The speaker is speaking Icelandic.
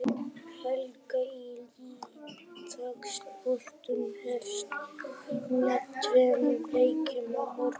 Helgin í ítalska boltanum hefst með tveimur leikjum á morgun.